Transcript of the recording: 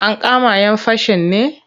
Ankama 'yan fashin ne?